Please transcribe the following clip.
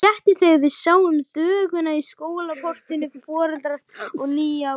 Léttir þegar við sjáum þvöguna í skólaportinu, foreldrar með nýgræðinga.